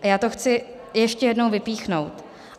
A já to chci ještě jednou vypíchnout.